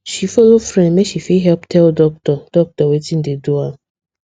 she follow friend make she fit help tell doctor doctor wetin dey do am